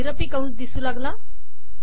महिरपी कंस आला